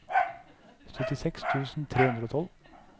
syttiseks tusen tre hundre og tolv